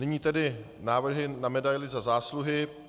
Nyní tedy návrhy na Medaili Za zásluhy.